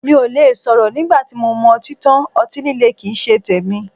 Mí ò le sọ̀rọ̀ nígbà tí mo mu ọtí tán, ọtí líle kín ń ṣe tèmi.